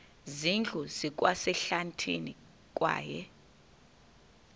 zindlu zikwasehlathini kwaye